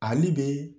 Ale be